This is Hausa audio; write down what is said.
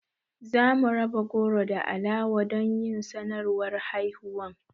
Za mu raba goro da alawa don yin sanarwar haihuwan